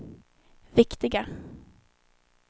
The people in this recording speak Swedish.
viktiga